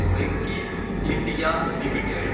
Venky's (India) limited